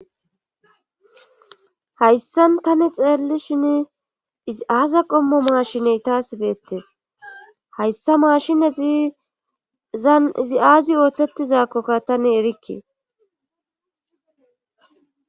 hayssan tan xeellishin izi aasa qommo maashiney taas beettes hayssa maashine izi aazi ooththetizakkokka tane erikke